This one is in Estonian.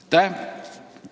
Aitäh!